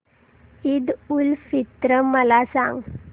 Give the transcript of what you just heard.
ईद उल फित्र मला सांग